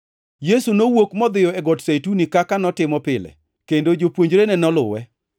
Yesu nowuok modhiyo e Got Zeituni kaka notimo pile, kendo jopuonjrene noluwe.